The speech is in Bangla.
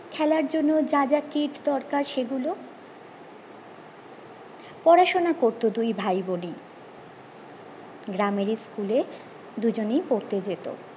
খেলার জন্য যা যা কীট দরকার সেগুলো পড়াশুনা করতো দুই ভাই বনেই গ্রামের school এ দুইজনে পড়তে যেত